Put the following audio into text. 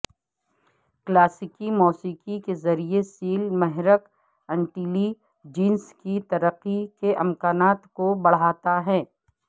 کلاسیکی موسیقی کے ذریعے سیل محرک انٹیلی جنس کی ترقی کے امکانات کو بڑھاتا ہے